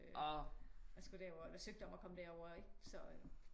Og skulle derover eller søgte om at komme derover